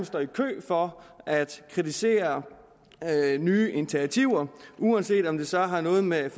står i kø for at kritisere nye initiativer uanset om det så har noget med